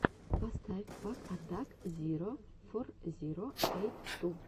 поставь пак атак зиро фор зиро эйт ту